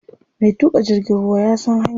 Mai tuƙa jirgin ruwa ya san hanya.